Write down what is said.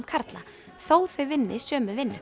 karla þó þau vinni sömu vinnu